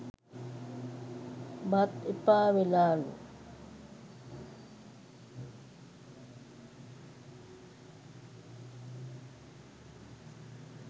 බත් එපා වෙලාලු